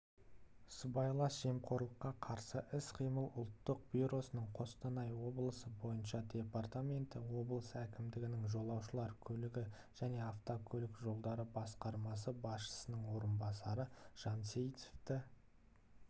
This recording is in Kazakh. сыбайлас жемқорлыққа қарсы іс-қимыл ұлттық бюросының қостанай облысы бойынша департаменті облыс әкімдігінің жолаушылар көлігі және автокөлік жолдары басқармасы басшысының орынбасары жансейітовті